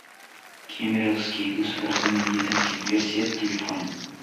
кемеровский государственный медицинский университет телефон